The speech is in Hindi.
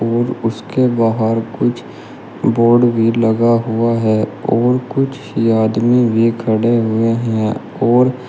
और उसके बाहर कुछ बोर्ड भी लगा हुआ है और कुछ आदमी भी खड़े हुए हैं और--